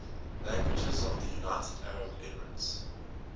languages of the united arab emirates